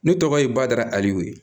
Ne tɔgɔ ye bada ali